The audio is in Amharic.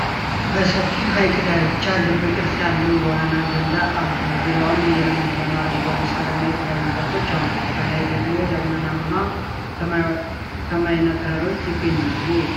በሰፊ ሐይቅ ዳርቻ፣ ልብ ቅርጽ ያለው የዋና ገንዳ አሉ። ዙሪያውን የለመለመ አረንጓዴ ሳርና የተለያዩ ዛፎች አሉ። ከላይ ደግሞ ደመናማ ሰማይና ተራሮች ይገኛሉ